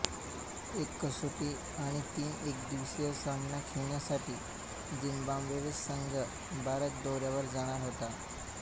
एक कसोटी आणि तीन एकदिवसीय सामना खेळण्यासाठी झिंबाब्वे संघ भारत दौऱ्यावर जाणार होता